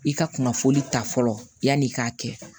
I ka kunnafoli ta fɔlɔ yanni i k'a kɛ